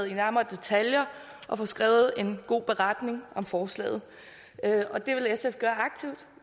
i nærmere detaljer og få skrevet en god beretning om forslaget og det vil sf gøre aktivt